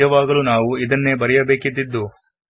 ನಾವು ಈಗ ಇದೇ ರೀತಿ ಬರೆಯಬೇಕಿತ್ತೇ